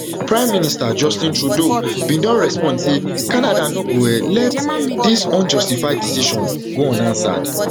prime minister justin trudeau bin bin don respond say canada no go um let dis unjustified decision go unanswered